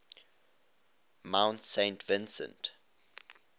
mount saint vincent